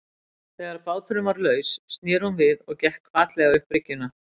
Þegar báturinn var laus sneri hún við og gekk hvatlega upp bryggjuna.